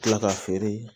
Kila k'a feere